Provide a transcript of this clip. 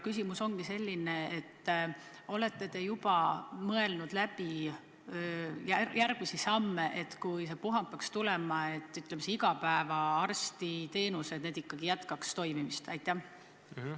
Küsimus ongi selline: kas te olete juba läbi mõelnud järgmisi samme, kui see puhang peaks tulema, nii et igapäevased arstiteenused ikkagi jätkaksid toimimist?